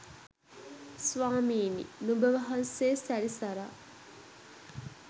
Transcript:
ස්වාමිනි! නුඹ වහන්සේ සැරිසරා